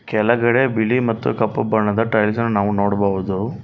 ಕೆಲಗಡೆ ಬಿಳಿ ಮತ್ತು ಕಪ್ಪು ಬಣ್ಣದ ಟೈಲ್ಸನ್ ನಾವು ನೋಡಬಹುದು.